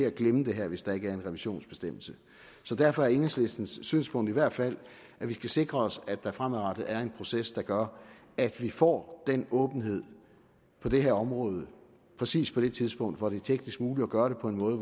at glemme det her hvis der ikke er en revisionsbestemmelse så derfor er enhedslistens synspunkt i hvert fald skal sikre os at der fremadrettet er en proces der gør at vi får den åbenhed på det her område præcis på det tidspunkt hvor det er teknisk muligt at gøre det på en måde